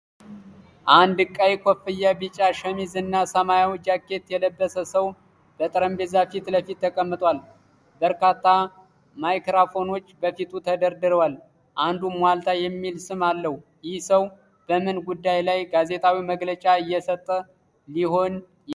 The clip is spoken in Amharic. አንድ ቀይ ኮፍያ፣ ቢጫ ሸሚዝ እና ሰማያዊ ጃኬት የለበሰ ሰው በጠረጴዛ ፊት ለፊት ተቀምጧል። በርካታ ማይክሮፎኖች በፊቱ ተደርድረዋል፣ አንዱም "ዋልታ" የሚል ስም አለው። ይህ ሰው በምን ጉዳይ ላይ ጋዜጣዊ መግለጫ እየሰጠ ሊሆን ይችላል?